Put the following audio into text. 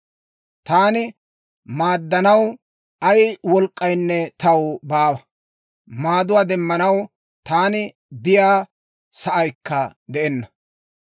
taana maaddanaw ay wolk'k'aynne taw baawa; maaduwaa demmanaw taani biyaa sa'aykka de'enna.